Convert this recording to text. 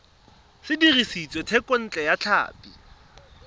se dirisitswe thekontle ya tlhapi